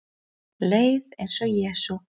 Leið eins og Jesú